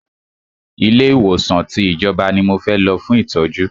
Ilé ìwòsàn tí ìjọba ní mo fẹ́ lọ fún ìtọ́jú!